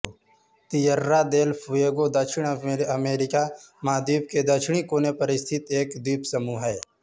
Tierra del Fuego दक्षिण America महाद्वीप के दक्षिणी कोने पर स्थित एक द्वीपसमूह है